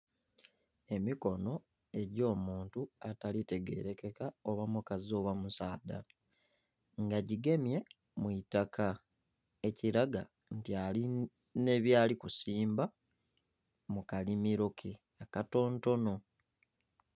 Emikono egy'omuntu atalitegerekeka oba mukazi oba musaadha nga jigemye mu itaka ekiraga nti alina byalikusimba mukalimiro ke akatontono.